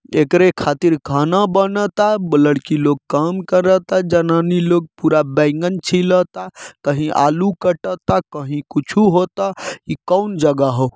एकरे खातिर खाना बनाता लड़की लोग काम कराता जनानी लोग पूरा बैगन छिलाता कही आलू कटाता कही कुछों होता इ कौन जगह हाउ।